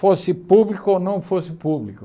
Fosse público ou não fosse público.